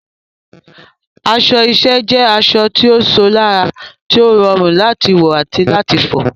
Aṣọ iṣẹ́ jẹ́ aṣọ tó ṣò lára, tó rọrùn láti wọ̀ àti láti fọ̀.